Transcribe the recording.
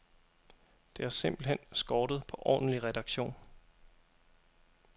Det har simpelt hen skortet på ordentlig redaktion.